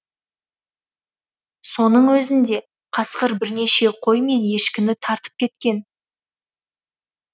соның өзінде қасқыр бірнеше қой мен ешкіні тартып кеткен